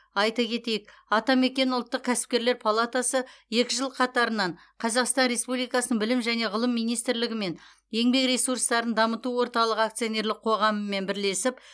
айта кетейік атамекен ұлттық кәсіпкерлер палатасы екі жыл қатарынан қазақстан республикасы білім және ғылым министрлігі мен еңбек ресурстарын дамыту орталығы акционерлік қоғамымен бірлесіп